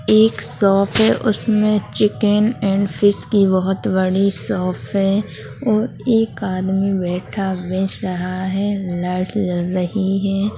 एक शॉप है उसमे चिकन एण्ड फिश की बहुत बड़ी शॉप है और एक आदमी बैठा रहा है रही है।